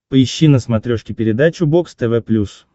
поищи на смотрешке передачу бокс тв плюс